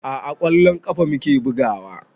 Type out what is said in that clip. A'a ƙwallon ƙafa muke bugawa